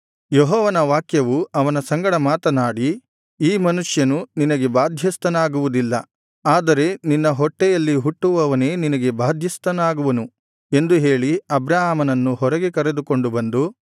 ಯೆಹೋವನ ವಾಕ್ಯವು ಅವನ ಸಂಗಡ ಮಾತನಾಡಿ ಈ ಮನುಷ್ಯನು ನಿನಗೆ ಬಾಧ್ಯಸ್ಥನಾಗುವುದಿಲ್ಲ ಆದರೆ ನಿನ್ನ ಹೊಟ್ಟೆಯಲ್ಲಿ ಹುಟ್ಟುವವನೇ ನಿನಗೆ ಬಾಧ್ಯಸ್ಥನಾಗುವನು ಎಂದು ಹೇಳಿ ಅಬ್ರಾಮನನ್ನು ಹೊರಗೆ ಕರೆದುಕೊಂಡು ಬಂದು